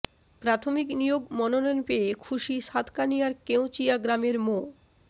প্রাথমিক নিয়োগ মনোনয়ন পেয়ে খুশি সাতকানিয়ার কেঁওচিয়া গ্রামের মো